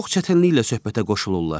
Çox çətinliklə söhbətə qoşulurlar.